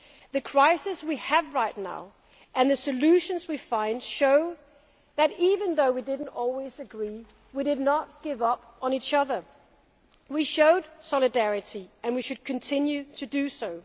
The crisis we have right now, and the solutions we find, show that, even though we did not always agree, we did not give up on each other. We showed solidarity and we should continue to do